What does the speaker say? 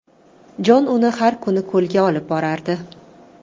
Jon uni har kuni ko‘lga olib borardi.